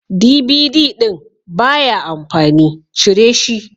DVD ɗin baya amfani, cire shi.